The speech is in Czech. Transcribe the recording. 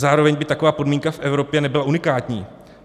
Zároveň by taková podmínka v Evropě nebyla unikátní.